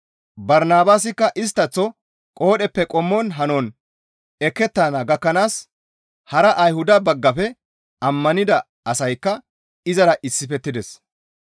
Barnabaasikka isttaththo qoodheppe qommon hanon ekettana gakkanaas hara Ayhuda baggafe ammanida asaykka izara issifettides.